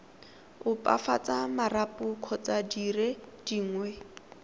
opafatsa marapo kgotsa dire dingwe